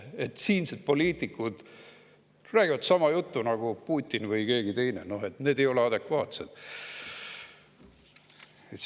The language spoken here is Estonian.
Seda, et siinsed poliitikud räägivad sama juttu nagu Putin või keegi teine, see ei ole adekvaatne jutt.